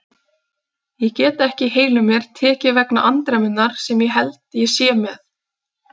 Ég get ekki á heilum mér tekið vegna andremmunnar sem ég held ég sé með.